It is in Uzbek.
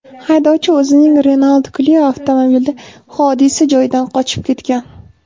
Haydovchi o‘zining Renault Clio avtomobilida hodisa joyidan qochib ketgan.